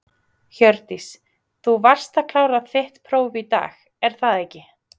Hjördís: Þú varst að klára þitt próf í dag, er það ekki?